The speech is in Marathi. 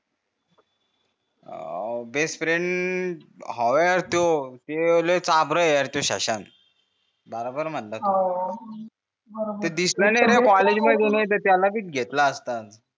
अं बेस्टफ्रेंड हाव यार तो त्यो लय चाभर हे शशांक बराबर म्हणाला तू त्यो दिसला नाही कॉलेज मधी नाही त त्याला बी घेतला असता